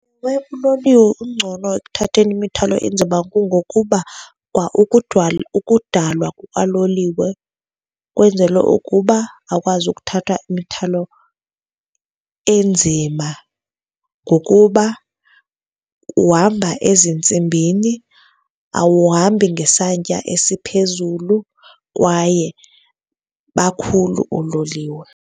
Kwaye uloliwe ungcono ekuthatheni imithwalo enzima kungokuba kwa ukudalwa kukaloliwe kwenzelwe ukuba akwazi ukuthatha imithwalo enzima ngokuba uhamba ezintsimbini, awuhambi ngesantya esiphezulu, kwaye bakhulu oololiwe.